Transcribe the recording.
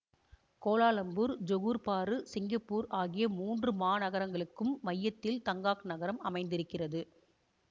Kuala Lumpur Johor Bahru Singapore ஆகிய மூன்று மாநகரங்களுக்கும் மையத்தில் தங்காக் நகரம் அமைந்திருக்கிறது